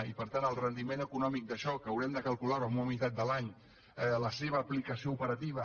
i per tant el rendiment econòmic d’això que haurem de calcular ho en una mitat de l’any la seva aplicació operativa